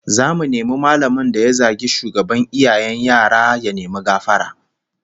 Zamu nemi mallamin da ya zagi shugaban iyayen yara ya nemi gafara